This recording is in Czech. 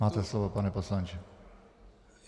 Máte slovo, pane poslanče.